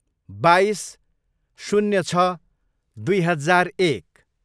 बाइस, शून्य छ, दुई हजार एक